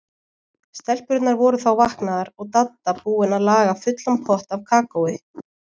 Stelpurnar voru þá vaknaðar og Dadda búin að laga fullan pott af kakói.